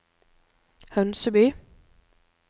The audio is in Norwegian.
Hønseby